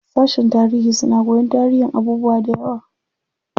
Sashen tarihi suna koyan tarihin abubuwa dayawa.